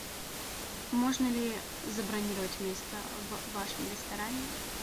можно ли забронировать место в вашем ресторане